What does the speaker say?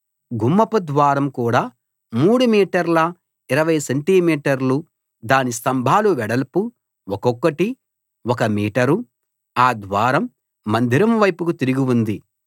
గుమ్మపు ద్వారం కూడా 3 మీటర్ల 20 సెంటి మీటర్లు దాని స్తంభాల వెడల్పు ఒక్కొక్కటి ఒక మీటరు ఆ ద్వారం మందిరం వైపుకు తిరిగి ఉంది